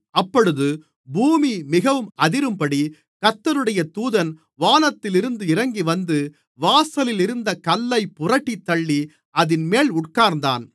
அப்பொழுது பூமி மிகவும் அதிரும்படி கர்த்தருடைய தூதன் வானத்திலிருந்து இறங்கிவந்து வாசலிலிருந்த கல்லைப் புரட்டித் தள்ளி அதின்மேல் உட்கார்ந்தான்